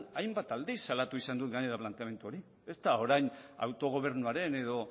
hainbat aldiz salatu izan dut planteamendu hori ez da orain autogobernuaren edo